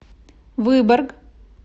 выборг